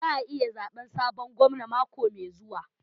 Za ayi zaɓe sabon gwamna mako mai zuwa.